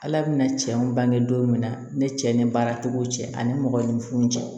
Ala bɛna cɛ in bange don min na ne cɛ ni baara tigiw cɛ ani mɔgɔ ni funu cɛ